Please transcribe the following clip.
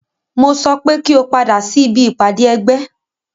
Mo sọ pé kí o padà sí ibi ìpàdé ẹgbẹ́!